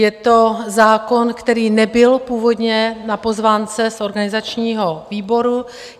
Je to zákon, který nebyl původně na pozvánce z organizačního výboru.